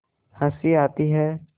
हँसी आती है